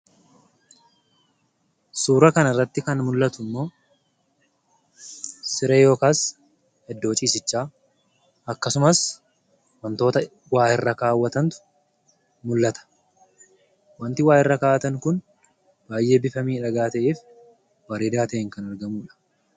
Suuraa kana irratti kan mul'atu immoo siree ( iddoo ciisichaa) akkasumas wantoota waa irra kaawwatantu mul'ata. Wanti waa irra kaa'atan kun baay'ee bifa miidhagaa ta'ee fi bareedaa ta'een kan aragamuu dha.